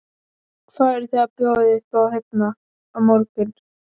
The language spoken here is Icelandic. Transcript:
Hvað eruð þið að bjóða upp á hérna á morgun?